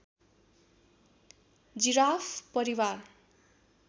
giraffe परिवार